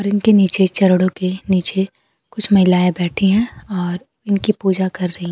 ring के नीचे चरणों के नीचे कुछ महिलाएं बैठी हैं और इनकी पूजा कर रही--